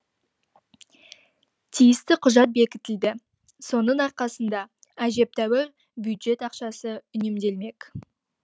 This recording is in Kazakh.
тиісті құжат бекітілді соның арқасында әжептәуір бюджет ақшасы үнемделмек